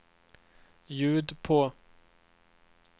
ljud på